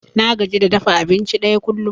Na gaji da dafa abinci ɗaya kullum.